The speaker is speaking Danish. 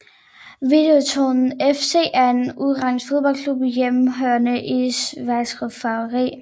Videoton FC er en ungarsk fodboldklub hjemmehørende i Szekesfehervari